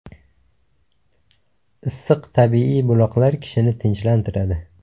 Issiq tabiiy buloqlar kishini tinchlantiradi.